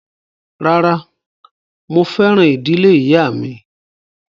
Rárá, mo fẹ́ràn ìdílé ìyáà mi